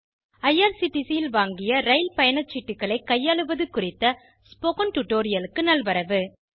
IRCTC ல் வாங்கிய ரயில் பயணச்சீட்டுகளை கையாளுவது குறித்த ஸ்போகன் டுடோரியலுக்கு நல்வரவு